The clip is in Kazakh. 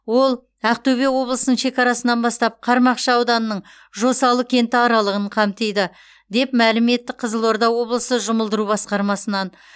ол ақтөбе облысын шекарасынан бастап қармақшы ауданының жосалы кенті аралығын қамтиды деп мәлім етті қызылорда облысы жұмылдыру басқармасынан